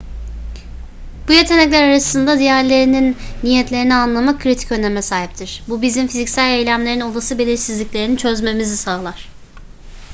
bu yetenekler arasında diğerlerinin niyetlerini anlamak kritik öneme sahiptir bu bizim fiziksel eylemlerin olası belirsizliklerini çözmemizi sağlar